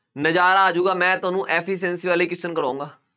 ਨਜ਼ਾਰਾ ਆ ਜਾਊਗਾ ਮੈਂ ਤੁਹਾਨੂੰ ਕਰਵਾਊਂਗਾ।